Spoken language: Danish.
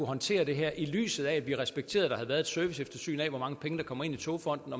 håndtere det her i lyset af at vi respekterer at der havde været et serviceeftersyn af hvor mange penge der kommer ind i togfonden